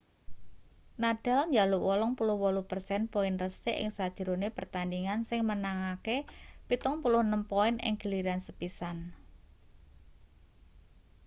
nadal njaluk 88% poin resik ing sajrone pertandhingan sing menangke 76 poin ing giliran sepisan